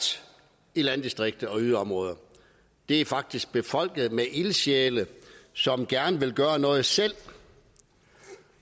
i landdistrikter og yderområder de er faktisk befolket med ildsjæle som gerne vil gøre noget selv